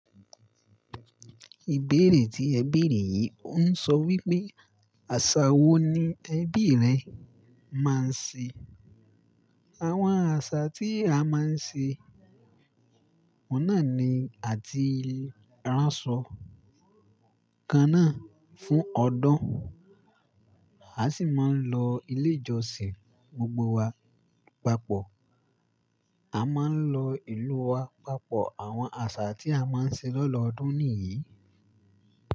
Ìbéèrè tí ẹ béèrè yìí ń sọ wípé, àṣà wo ni ẹbí rẹ máa ń ṣe? Àwọn àṣà tí a máa ń ṣe, oun náa ní àti ránṣọ kan náà fún ọdún, a sì máa ń lọ ilé ìjọsìn gbogbo wa papọ̀. A máa ń lọ ìlú wa papọ̀. Àwọn àṣà tí a máa ń ṣe lọ́doodún nìyí.